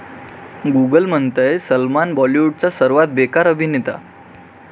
Google म्हणतंय, सलमान बाॅलिवूडचा सर्वात बेकार अभिनेता!